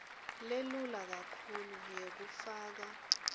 lelula kakhulu yekufaka